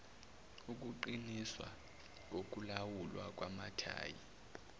ukuqiniswa kokulawulwa kwamathayi